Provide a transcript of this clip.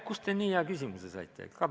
Kust te nii hea küsimuse saite?